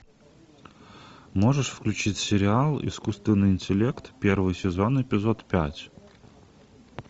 можешь включить сериал искусственный интеллект первый сезон эпизод пять